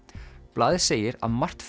blaðið segir að margt